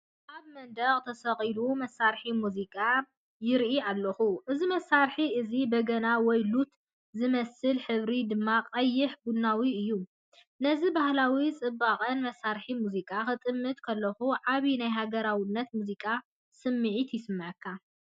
ኣብ መንደቕ ተሰቒሉ መሳርሒ ሙዚቃ ይርኢ ኣለኹ። እዚ መሳርሒ እዚ በገና ወይ ሉት ዝመስል ሕብሪ ድማ ቀይሕ ቡናዊ እዩ። ነዚ ባህላውን ጽብቕትን መሳርሒ ሙዚቃ ክጥምት ከለኹ ዓቢ ናይ ሃገራውነትን ሙዚቃን ስምዒት ይስምዓካ።